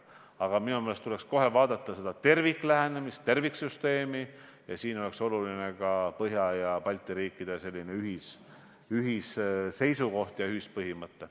Aga minu meelest tuleks kohe vaadata terviklähenemist, terviksüsteemi ja siin on oluline ka Põhjamaade ja Balti riikide ühisseisukoht, ühispõhimõte.